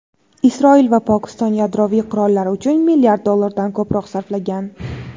Isroil va Pokiston yadroviy qurollar uchun milliard dollardan ko‘proq sarflagan.